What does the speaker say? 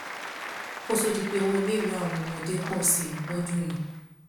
kó tó di pé owó iléèwé àwọn ọmọdé pọ sí i lọdún yìí